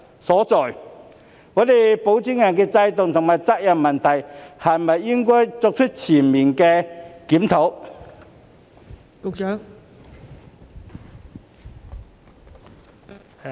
是否應對現行保薦人制度和責任問題作出全面檢討？